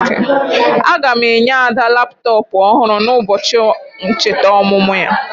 Aga m enye Ada laptọpụ ọhụrụ n'ụbọchị ncheta ọmụmụ ya.